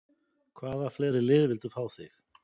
Hvaða fleiri lið vildu fá þig?